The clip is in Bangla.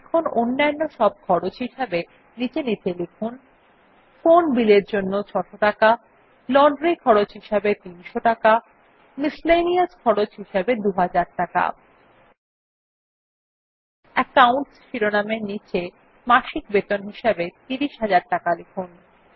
এখন অন্যান্য সব খরচ হিসাবে নীচে নীচে লিখুন ফোন bill এর জন্য ৬০০ টাকা লন্ড্রি খরচ হিসাবে ৩০০ টাকা মিসেলেনিয়াস খরচ হিসাবে ২০০০ টাকা একাউন্টস শিরোনাম এর নীচে মাসিক বেতন হিসাবে ৩০০০০ টাকা লিখুন